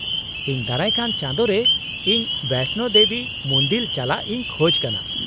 -ᱤᱧ ᱫᱟᱨᱟᱭ ᱠᱟᱱ ᱪᱟᱸᱫᱳ ᱨᱮ ᱤᱧ ᱵᱚᱭᱥᱱᱳ ᱫᱮᱵᱤ ᱢᱩᱱᱫᱤᱞ ᱪᱟᱞᱟᱜ ᱤᱧ ᱠᱷᱚᱡ ᱠᱟᱱᱟ ᱾